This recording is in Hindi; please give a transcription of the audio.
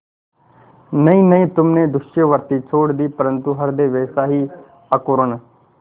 नहीं नहीं तुमने दस्युवृत्ति छोड़ दी परंतु हृदय वैसा ही अकरूण